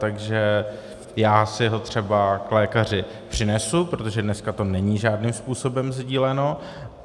Takže já si ho třeba k lékaři přinesu, protože dneska to není žádným způsobem sdíleno.